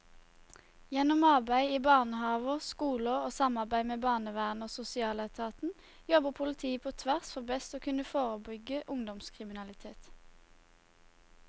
Gjennom arbeid i barnehaver, skoler og samarbeid med barnevernet og sosialetaten jobber politiet på tvers for best å kunne forebygge ungdomskriminalitet.